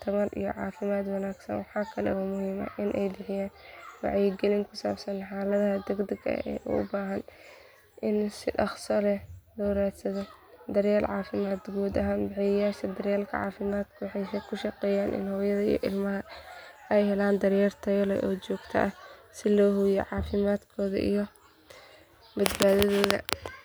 cunto nafaqo leh si uu u bogsado waalidiintu waa inay ka fogaadaan inay siiyaan daawooyin aan dhakhtar oggolaan siilka looga hortago waxyeelo dhacdo marka ilmaha qandho qabto waa muhiim in la ilaaliyo nadaafadda iyo nadiifnimada guriga gaar ahaan meelaha uu ilmuhu ku badan yahay taasoo ka caawisa in infekshanka uusan u fidin dadka kale ugu dambeyn waalidiintu waa inay si taxadar leh u raacaan tilmaamaha dhakhtarka oo ay joogteeyaan daaweynta ilaa ilmaha ka soo kabsado.